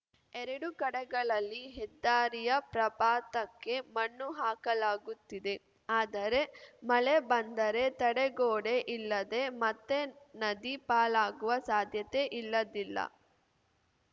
ಎರಡೂ ಕಡೆಗಳಲ್ಲಿ ಹೆದ್ದಾರಿಯ ಪ್ರಪಾತಕ್ಕೆ ಮಣ್ಣು ಹಾಕಲಾಗುತ್ತಿದೆ ಆದರೆ ಮಳೆ ಬಂದರೆ ತಡೆಗೋಡೆ ಇಲ್ಲದೆ ಮತ್ತೆ ನದಿ ಪಾಲಾಗುವ ಸಾಧ್ಯತೆ ಇಲ್ಲದಿಲ್ಲ